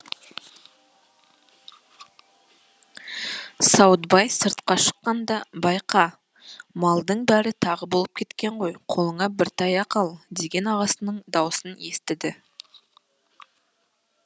сауытбай сыртқа шыққанда байқа малдың бәрі тағы болып кеткен ғой қолыңа бір таяқ ал деген ағасының даусын естіді